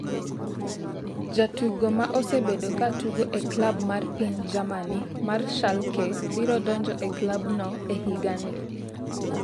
Jatugo ma osebedo ka tugo e klab mar piny Germany mar Schalke biro donjo e klabno e higa ni.